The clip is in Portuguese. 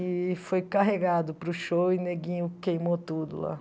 E foi carregado para o show e o neguinho queimou tudo lá.